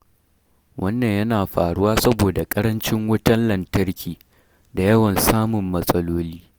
Wannan yana faruwa saboda ƙarancin wutar lantarki da yawan samun matsaloli.